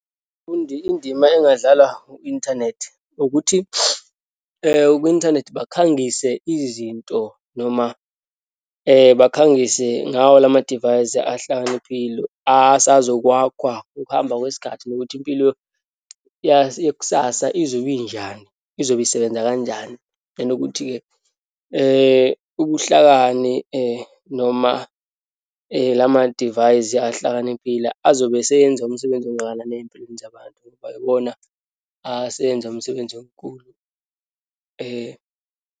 Umfundi indima engadlalwa u-inthanethi ukuthi kwi-inthanethi bakhangise izinto noma bakhangise ngawo lamadivayisi ahlakaniphile, asazokwakhwa ukuhamba kwesikhathi, nokuthi impilo yekusasa izobe injani, izobe isebenza kanjani. Nokuthi-ke ubuhlakani noma lamadivayisi ahlakaniphile, azobe eseyenza umsebenzi ongakanani eyimpilweni zabantu, ngoba iwona aseyenza umsebenzi omkhulu .